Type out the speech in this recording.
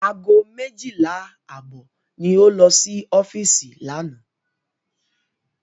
Ago méjìlá àbọ̀ ni ó lọ sí ọ́fíìsì lánàá.